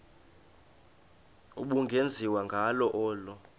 ubungenziwa ngalo olu